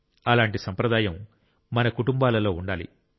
అలాంటి సంప్రదాయం మన కుటుంబాలలో ఉండాలి